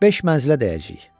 Beş mənzilə dəyəcəyik.